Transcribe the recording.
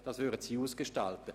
Dies würden Sie ausgestalten.